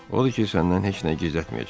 Odur ki, səndən heç nə gizlətməyəcəm.